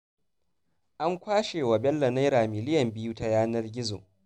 An kwashe wa Bello Naira miliyan biyu ta yanar gizo